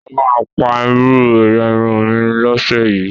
mọ má pá irú ẹyà Irun mí ló ṣe yí